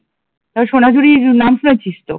তোরা সোনাঝুড়ির নাম শুনেছিস তো